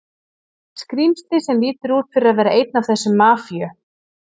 skrímsli sem lítur út fyrir að vera einn af þessum Mafíu